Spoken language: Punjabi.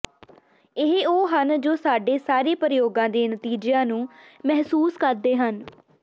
ਇਹ ਉਹ ਹਨ ਜੋ ਸਾਡੇ ਸਾਰੇ ਪ੍ਰਯੋਗਾਂ ਦੇ ਨਤੀਜਿਆਂ ਨੂੰ ਮਹਿਸੂਸ ਕਰਦੇ ਹਨ